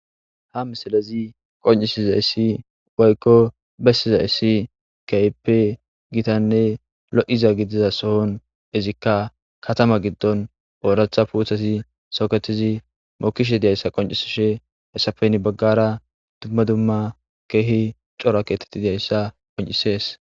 ha misilezi qoncisi za issi woykko bessiza issi keehippe gitanne lo7iza gidiza sohon izikka katama giddon ooratha puuthasi soketizi mokishe diyayssa qoncisishe hessafenni baggara dumma dumma keehi cora keetetti diyayssa qoncisees